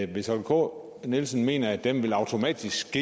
hvis holger k nielsen mener at den automatisk